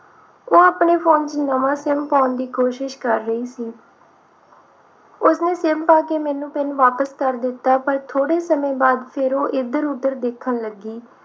ਉਹ ਆਪਣੇ phone ਵਿਚ ਨਵਾਂ SIM ਪਾਉਣ ਦੀ ਕੋਸ਼ਿਸ਼ ਕਰ ਰਹੀ ਸੀ ਉਸਨੇ SIM ਪਾ ਕੇ ਪਿੰਨ ਮੈਨੂੰ ਵਾਪਿਸ ਕਰ ਦਿੱਤਾ ਪਰ ਥੋੜੇ ਸਮੇਂ ਬਾਅਦ ਫਿਰ ਉਹ ਇਧਰ ਉਧਰ ਦੇਖਣ ਲੱਗੀ